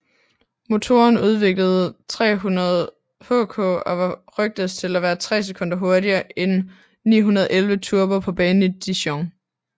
Motoren udviklede 300Hk og var rygtedes til at være 3 sekunder hurtigere end 911 Turbo på banen i Dijon